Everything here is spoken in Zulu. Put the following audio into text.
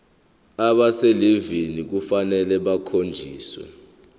abaselivini kufanele bakhonjiswe